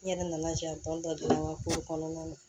N yɛrɛ nana jɛtɔ an ka kow kɔnɔna na